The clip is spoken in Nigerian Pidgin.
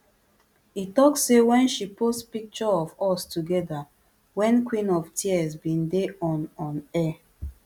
e tok say wen she post picture of us togeda wen queen of tears bin dey on on air